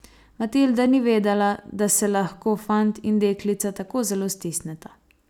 Matilda ni vedela, da se lahko fant in deklica tako zelo stisneta.